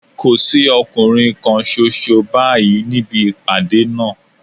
Kò sí ọkùnrin kan ṣoṣo báyìí níbi ìpàdé náà